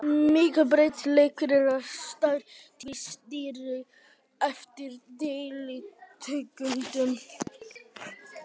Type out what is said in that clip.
Mikill breytileiki er á stærð tígrisdýra eftir deilitegundum.